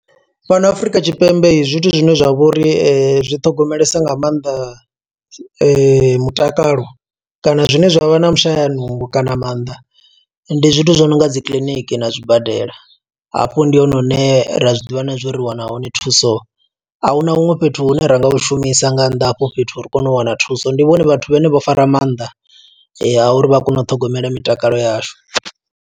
Fhano Afurika Tshipembe, zwithu zwine zwa vhori zwi ṱhogomelesa nga maanḓa mutakalo kana zwine zwavha na vhushaya nungo kana maanḓa. Ndi zwithu zwo no nga dzi kiḽiniki na zwibadela, hafho ndi hone hune ra zwiḓivha na zwo uri ri wana hone thuso. A huna huṅwe fhethu hune ra nga hu shumisa nga nnḓa ha hafho fhethu, ri kone u wana thuso. Ndi vhone vhathu vhane vho fara maanḓa, a uri vha kone u ṱhogomela mitakalo yashu.